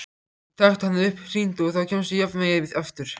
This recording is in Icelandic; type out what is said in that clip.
Taktu hann upp, hringdu, og þá kemstu í jafnvægi aftur.